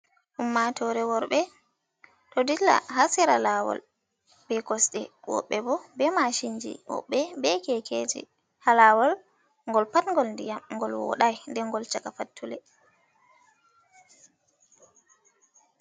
Ummatore worɓe ɗo dilla ha sera lawol be kosɗe, woɓɓe bo be mashinji, woɓɓe be kekeji haa lawol ngol pat ngol ndiyam, ngol woɗai nden ngol chaka fattule.